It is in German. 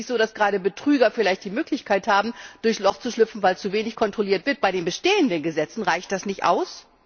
Ist es nicht so, dass gerade Betrüger die Möglichkeit haben, durchs Loch zu schlüpfen, weil zu wenig kontrolliert wird bei den bestehenden Gesetzen? Reicht das nicht aus?